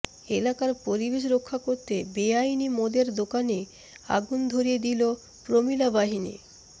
এলাকার পরিবেশ রক্ষা করতে বেআইনি মদের দোকানে আগুন ধরিয়ে দিল প্রমিলা বাহিনী